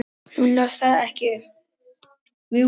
Hún las það ekki.